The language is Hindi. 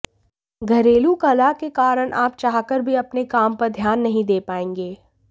घरेलू कलह के कारण आप चाहकर भी अपने काम पर ध्यान नहीं दे पाएंगे